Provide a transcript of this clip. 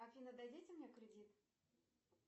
афина дадите мне кредит